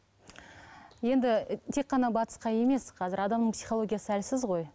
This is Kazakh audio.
енді тек қана батысқа емес қазір адамның психологиясы әлсіз ғой